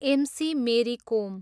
MC. Mary कोम